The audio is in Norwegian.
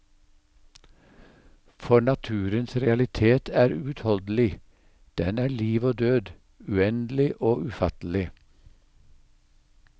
For naturens realitet er uutholdelig, den er liv og død, uendelig og ufattelig.